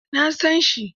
Eh, na san shi.